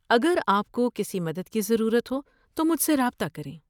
اگر آپ کو کسی مدد کی ضرورت ہو تو مجھ سے رابطہ کریں۔